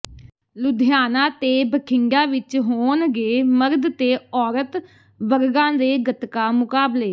ਲੁਧਿਆਣਾ ਤੇ ਬਠਿੰਡਾ ਵਿੱਚ ਹੋਣਗੇ ਮਰਦ ਤੇ ਔਰਤ ਵਰਗਾਂ ਦੇ ਗੱਤਕਾ ਮੁਕਾਬਲੇ